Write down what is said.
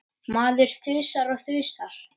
Maður þusar og þusar.